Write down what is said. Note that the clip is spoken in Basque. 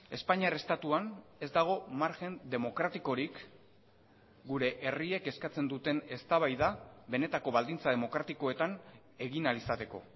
espainiar estatuan ez dago margen demokratikorik gure herriek eskatzen duten eztabaida benetako baldintza demokratikoetan egin ahal izateko